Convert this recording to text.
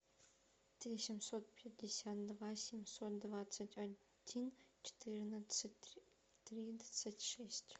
три семьсот пятьдесят два семьсот двадцать один четырнадцать тридцать шесть